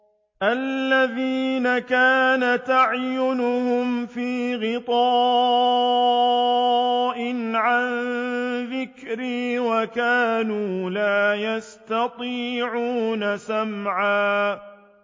الَّذِينَ كَانَتْ أَعْيُنُهُمْ فِي غِطَاءٍ عَن ذِكْرِي وَكَانُوا لَا يَسْتَطِيعُونَ سَمْعًا